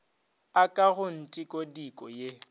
a ka go ntikodiko ye